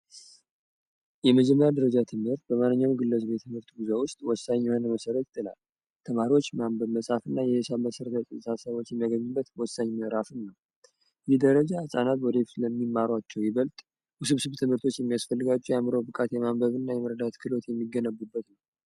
የመጀመሪያ ደረጃ ትምህር በማንኛው ግለሰብ ውስጥ የትምህርቱ ጉዞ ውስጥ ወሳኝ የህነ መሰረት ጥላ ተማሪዎች ማንበብ መጻሐፍ እና የየሻ መሰረ ሳሳቦች የመገኝበት ወሳኝ መዕራፍም ነው ይህ ደረጃ ናት ወደ ይፍት ለሚማሯቸው ይበልጥ ውስብ ስብ ትምህርቶች የሚያስፈልጋችው የአምሮው ብቃት የማንበብ እና የምህርዳት ክሎት የሚገነቡበት ነው።